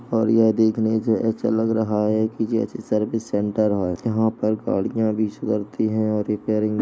और यह देखने से ऐसा लग रहा है कि जैसे सर्विस सेंटर है यहाँ पर गाड़ियाँ भी और रिपेयरिंग --